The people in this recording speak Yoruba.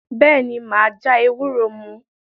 Bẹ́ẹ̀ ni, mà á já ewúro mu.